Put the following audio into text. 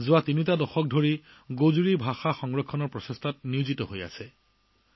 বিগত ৩ দশক ধৰি তেওঁ গোজৰি ভাষা সংৰক্ষণৰ চেষ্টা চলাই আহিছে